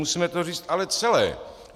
Musíme to říct ale celé.